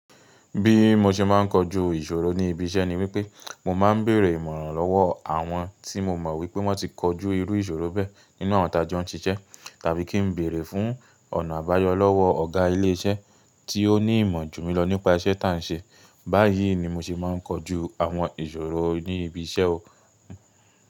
Bí mo ṣe máà ń kojú ìṣòro ní ibi iṣẹ́ ni wípé mo máa ń bèèrè ìmọ̀ràn lọ́wọ́ àwọn tí mo mọ̀ wípé wọ́n ti kojú irú ìṣòro bẹ́ẹ̀ nínú àwọn tí a jo n siṣẹ́ tàbí kí n bèèrè fún ọ̀nà àbáyọ lọ́wọ́ ọ̀gá ilé iṣẹ́ tí ó ní ìmọ̀ jù mí lọ nípa iṣẹ́ tá ń ṣe. Báyìí ni mo ṣe máa ń kojú àwọn ìṣòro ní ibi iṣẹ́ o.